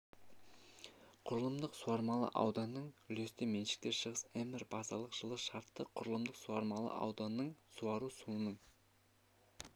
құрылымдық суармалы ауданның үлесті меншікті шығыс мбр базалық жылы шартты құрылымдық суармалы ауданның суару суының